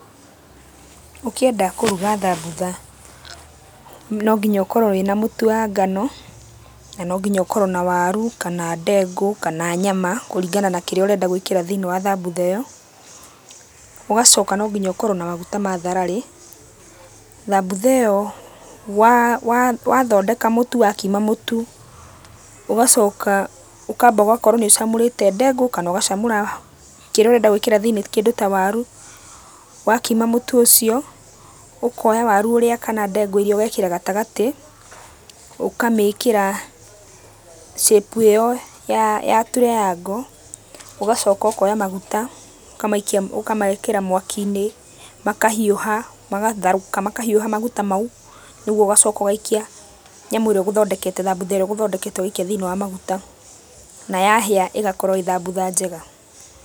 Ũkĩenda kũruga thambutha no nginya ũkorwo wĩna mũtu wa ngano, na no nginya ũkorwo na waru, kana ndengũ, kana nyama, kũringana na kĩrĩa ũrenda gwĩkĩra thĩiniĩ wa thambutha ĩyo. Ũgacoka no nginya ũkorwo na maguta mathararĩ. Thambutha ĩyo wathondeka mũtu wakima mũtu, ũgacoka ũkamba ũgakorwo nĩũcamũrĩte ndengũ kana ũgacamũra kĩrĩa ũrenda gwĩkĩra thĩiniĩ kĩndũ ta waru. Wakima mũtu ũcio, ũkoya waru ũrĩa kana ndengũ iria ũgekĩra gatagatĩ, ũkamĩkĩra shape ĩyo ya ya triangle, ũgacoka ũkoya maguta ũkamaikia ũkamekĩra mwaki-inĩ, makahiũha magatherũka makahiũha maguta mau, nĩguo ũgacoka ũgaikia nyamũ ĩrĩa ũgũthondekete, thambutha ĩrĩa ũgũthondekete ũgaikia thĩiniĩ wa maguta, na yahĩa ĩgakorwo ĩ thambutha njega.